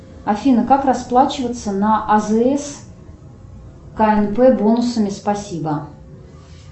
афина как расплачиваться на азс кнп бонусами спасибо